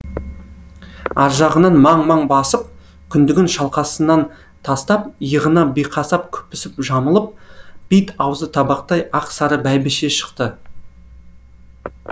аржағынан маң маң басып күндігін шалқасынан тастап иығына биқасап күпісін жамылып бет аузы табақтай ақ сары бәйбіше шықты